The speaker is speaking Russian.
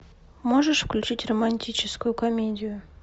можешь включить романтическую комедию